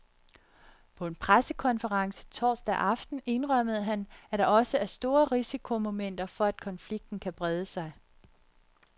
På en pressekonference torsdag aften indrømmede han, at der også er store risikomomenter for at konflikten kan brede sig.